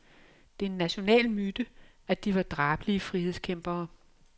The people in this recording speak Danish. Det er en national myte, at de var drabelige frihedskæmpere.